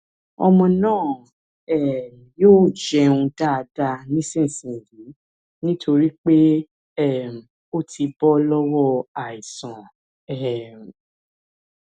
ọmọ náà um yóò jẹun dáadáa dáadáa nísinsinyìí nítorí pé um ó ti bọ lọwọ àìsàn um